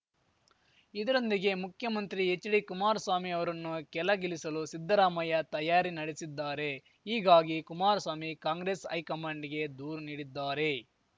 ಇದರೊಂದಿಗೆ ಮುಖ್ಯಮಂತ್ರಿ ಎಚ್‌ಡಿ ಕುಮಾರಸ್ವಾಮಿ ಅವರನ್ನು ಕೆಲಗಿಲಿಸಲು ಸಿದ್ದರಾಮಯ್ಯ ತಯಾರಿ ನಡೆಸಿದ್ದಾರೆ ಹೀಗಾಗಿ ಕುಮಾರಸ್ವಾಮಿ ಕಾಂಗ್ರೆಸ್‌ ಹೈಕಮಾಂಡ್‌ಗೆ ದೂರು ನೀಡಿದ್ದಾರೆ